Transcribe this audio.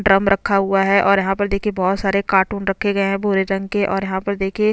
drum रखा हुआ है और यहाँ पर देखिये बहुत सारे कार्टून रखे गये है भूरे रंग के और यहाँ पर देखिये --